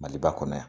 Maliba kɔnɔ yan